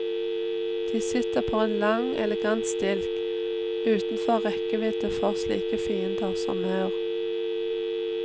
De sitter på en lang, elegant stilk, utenfor rekkevidde for slike fiender som maur.